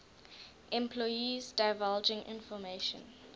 employees divulging information